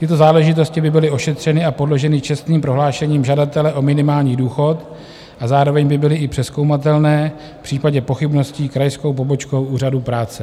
Tyto záležitosti by byly ošetřeny a podloženy čestným prohlášením žadatele o minimální důchod a zároveň by byly i přezkoumatelné v případě pochybností krajskou pobočkou Úřadu práce.